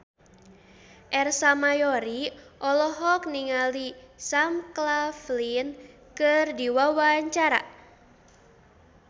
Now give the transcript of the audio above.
Ersa Mayori olohok ningali Sam Claflin keur diwawancara